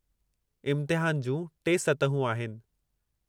इम्तिहान जूं टे सतहूं आहिनि।